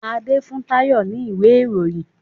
Ade fún Tayo ní ìwé Ìròyìn.